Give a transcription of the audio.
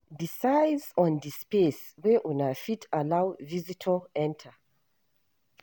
Decide on di space wey una fit allow visitior enter